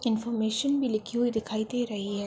Information भी लिखी हुई दिखाई दे रही है।